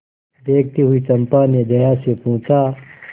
देखती हुई चंपा ने जया से पूछा